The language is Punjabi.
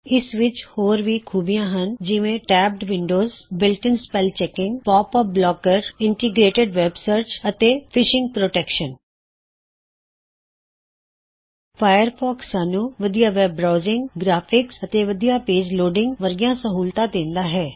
ਇਸ ਵਿੱਚ ਹੋਰ ਵੀ ਖੂਬੀਆਂ ਹੱਨ ਜਿਵੇ ਟੈਬਡ ਵਿੰਡੋਜ਼ ਨਿਰਮਿਤ spell checking pop up blocker ਸੰਕਲਿਤ ਵੇਬ ਸਰ੍ਚ ਫਿਸ਼ਿੰਗ ਤੋ ਬਚਾਵ ਫਾਇਰਫੌਕਸ ਸਾਨ੍ਹੂੱ ਵਧੀਆ ਵੇਬ ਬ੍ਰਾਉਜਿਂਗ ਗ੍ਰਾਫਿੱਕਸ ਅਤੇ ਵਧੀਆ ਪੇਜ ਲੋਡਿਂਗ ਵਰਗੀਆਂ ਸਹੂਲਤਾਂ ਦਿੰਦਾ ਹੈ